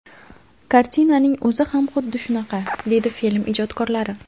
Kartinaning o‘zi ham xuddi shunaqa”, deydi film ijodkorlari.